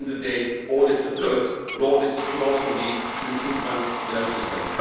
At the end of the day audits are good, but audits should also lead to improvements in our systems.